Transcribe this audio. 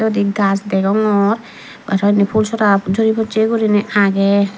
indi gaj degongor araw indi pulsora juri posse gurinei agey.